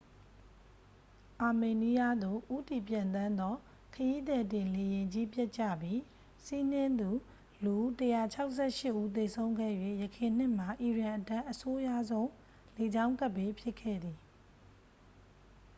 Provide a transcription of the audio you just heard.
အာမေးနီးယားသို့ ဦးတည်ပျံသန်းသော ခရီးသည်တင်လေယာဉ်ကြီး ပျက်ကြပြီး စီးနင်းသူ လူ 168 ဦး သေဆုံးခဲ့၍ ယခင်နှစ်မှာ အီရန်အတွက် အဆိုးရွားဆုံး လေကြောင်းကပ်ဘေး ဖြစ်ခဲ့သည်